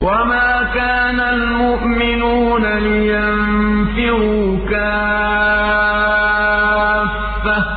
۞ وَمَا كَانَ الْمُؤْمِنُونَ لِيَنفِرُوا كَافَّةً ۚ